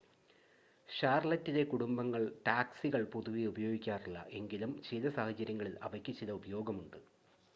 ഷാർലറ്റിലെ കുടുംബങ്ങൾ ടാക്‌സികൾ പൊതുവെ ഉപയോഗിക്കാറില്ല എങ്കിലും ചില സാഹചര്യങ്ങളിൽ അവയ്ക്ക് ചില ഉപയോഗമുണ്ട്